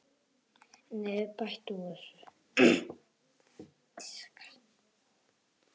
Hvernig verður bætt úr þessu?